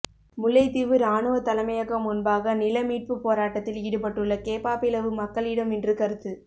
முல்லைத்தீவு இராணுவ தலைமையகம் முன்பாக நிலமீட்பு போராட்டத்தில் ஈடுபட்டுள்ள கேப்பாப்பிலவு மக்களிடம் இன்று கருத்து